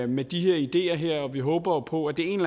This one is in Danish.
med de her ideer og vi håber på at det en